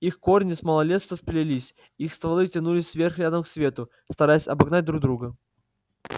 их корни с малолетства сплелись их стволы тянулись вверх рядом к свету стараясь обогнать друг друга